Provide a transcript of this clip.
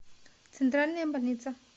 центральная больница